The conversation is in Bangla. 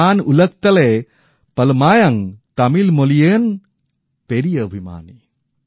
নান উলগতলয়ে পলমায়াং তমিল মোলিইয়ন পেরিয়ে অভিমানী